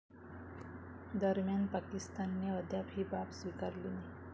दरम्यान, पाकिस्तानने अद्याप ही बाब स्वीकारली नाही.